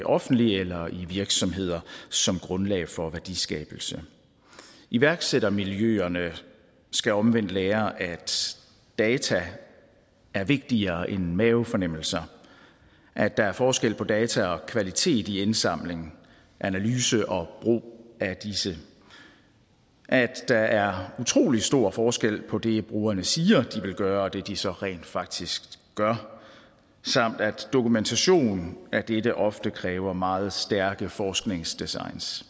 offentlige eller i virksomheder som grundlag for værdiskabelse iværksættermiljøerne skal omvendt lære at data er vigtigere end mavefornemmelser at der er forskel på data og kvalitet i indsamling analyse og brug af disse at der er utrolig stor forskel på det brugerne siger de vil gøre og det de så rent faktisk gør samt at dokumentation af dette ofte kræver meget stærke forskningsdesigns